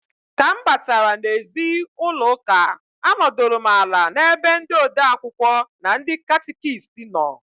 Ka m batara n'ezi ụlọụka anọdụlụ m ala n'ebe ndị ode akwụkwọ na ndị catịkist nọ.